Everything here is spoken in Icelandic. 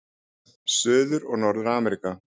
Suður- og Norður-Ameríka